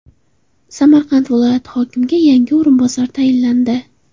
Samarqand viloyati hokimiga yangi o‘rinbosar tayinlandi.